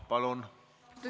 Palun!